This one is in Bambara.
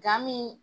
Gamin